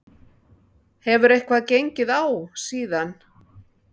Hefur eitthvað gengið á síðan?